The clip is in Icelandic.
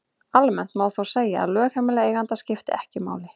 Almennt má þó segja að lögheimili eiganda skipti ekki máli.